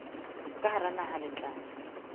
ka hara naha le tla